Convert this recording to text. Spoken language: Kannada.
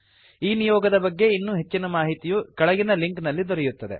ಈ ನಿಯೋಗದ ಬಗ್ಗೆ ಇನ್ನೂ ಹೆಚ್ಚಿನ ಮಾಹಿತಿಯು ಕೆಳಗಿನ ಲಿಂಕ್ ನಲ್ಲಿ ದೊರೆಯುತ್ತದೆ